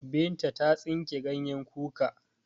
Binta ta tsinke ganyen kuka.